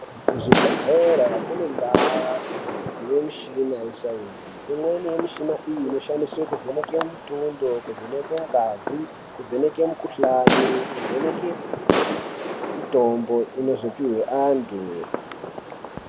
Kuzvibhedhlera kune ndaa dzine mishina yesaenzi. Imweni yemishina iyi noshandiswa kuvheneke mutundo. Kuvheneke ngazi, kuvheneke mukuhlani, kuvheneke mitombo inozopihwa antu.